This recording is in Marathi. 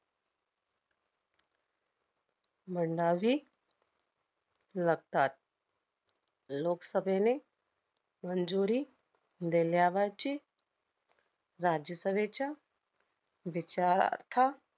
मांडावी लागतात. लोकसभेने मंजुरी देण्यावरची राज्यसभेच्या विचारार्थ